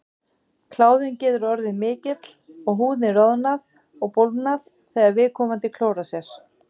Kláðinn getur orðið mikill og húðin roðnað og bólgnað þegar viðkomandi klórar sér.